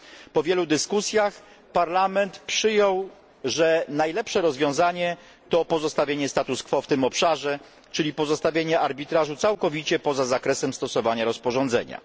Po wielu dyskusjach Parlament przyjął, że najlepsze rozwiązanie to pozostawienie status quo w tym obszarze, czyli pozostawienie arbitrażu całkowicie poza zakresem stosowania rozporządzenia.